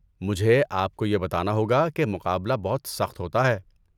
مجھے آپ کو یہ بتانا ہوگا کہ مقابلہ بہت سخت ہوتا ہے۔